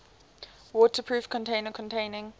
waterproof container containing